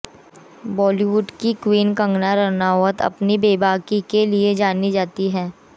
बॉलीवुड की क्वीन कंगना रनौत अपनी बेबाकी के लिए जानी जाती हैं